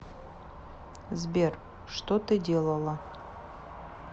сбер что ты делала